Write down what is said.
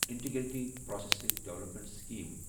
integrated processing development scheme